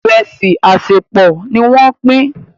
Iresi asepọ ní wón Pin.